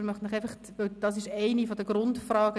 Die Frage des Ausstands ist eine der Grundfragen.